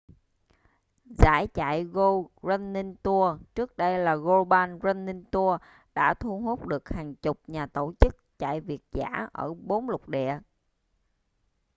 giải chạy go running tours trước đây là global running tours đã thu hút được hàng chục nhà tổ chức chạy việt dã ở bốn lục địa